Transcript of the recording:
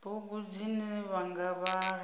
bugu dzine vha nga vhala